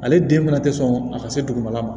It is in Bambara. Ale den fana tɛ sɔn a ka se dugumala ma